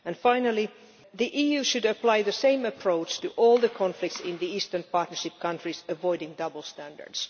Finally, the EU should apply the same approach to all the conflicts in the Eastern Partnership countries, avoiding double standards.